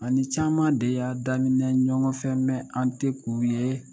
An ni caman de y'a daminɛ ɲɔgɔnfɛn an tɛ k'u ye